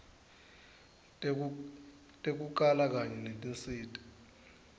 tekukala kanye netinsita